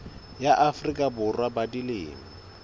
ya afrika borwa ba dilemo